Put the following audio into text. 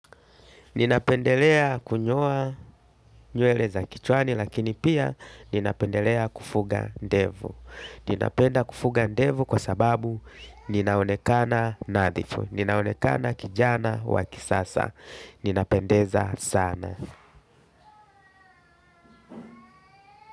Ninapendelea kunyoa nywele za kichwani lakini pia ninapendelea kufuga ndevu. Ninapenda kufuga ndevu kwa sababu ninaonekana nadhifu. Ninaonekana kijana wa kisasa. Ninapendeza sana.